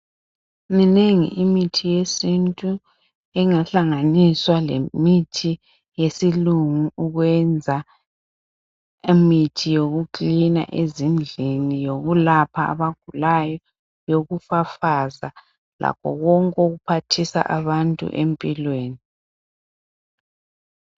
Minengi imithi yesintu engahlanganiswa lemithi yesilungu ukwenza imithi yoku cleaner ezindlini yokulapha abagulayo yokufafaza lakho konke okuphathisa abantu empilweni